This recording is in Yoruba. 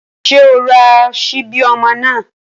Ṣé o ra ṣíbí ọmọ náà?